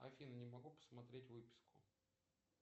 афина не могу посмотреть выписку